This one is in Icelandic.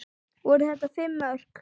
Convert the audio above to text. Voru þetta fimm mörk?